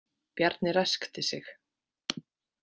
Bjarni ræskti sig.